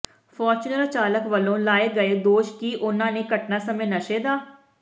Fortuner ਚਾਲਕ ਵੱਲੋਂ ਲਾਏ ਗਏ ਦੋਸ਼ ਕਿ ਉਨ੍ਹਾਂ ਨੇ ਘਟਨਾ ਸਮੇਂ ਨਸ਼ੇ ਦਾ